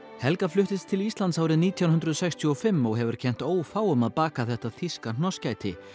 helga fluttist til Íslands árið nítján hundruð sextíu og fimm og hefur kennt ófáum að baka þetta þýska hnossgæti